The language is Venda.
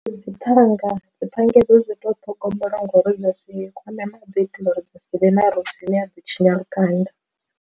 Dzi phanga, dzi panga idzo dzi to ṱhogomeliwa ngori dzi si kwame maḓi u itela uri dzi si vhe na rosi ine ya ḓo tshinya lukanda.